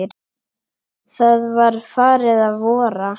Það var farið að vora.